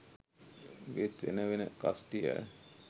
ඒත් වෙන වෙන කස්ටිය